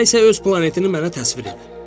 Elə isə öz planetini mənə təsvir elə.